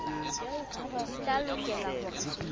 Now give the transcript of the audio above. di tla lokela hore di